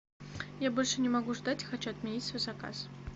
я больше не могу ждать хочу отменить свой заказ